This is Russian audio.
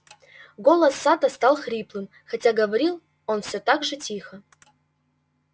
голос сатта стал хриплым хотя говорил он все так же тихо